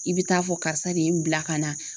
I bɛ taa fɔ karisa de ye n bila ka na